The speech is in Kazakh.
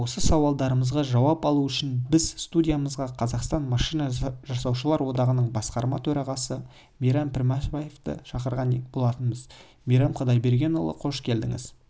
осы сауалдарымызға жауап алу үшін біз студиямызға қазақстан машина жасаушылар одағының басқарма төрағасы мейрам пішембаевты шақырған болатынбыз мейрам құдайбергенұлы қош келдіңіз